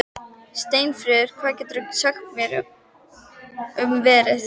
Steinfríður, hvað geturðu sagt mér um veðrið?